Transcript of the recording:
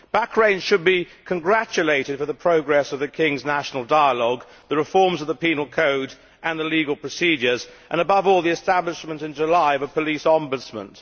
Bahrain should be congratulated on the progress of the King's national dialogue, the reforms of the penal code and the legal procedures, and above all the establishment in July of a police ombudsman.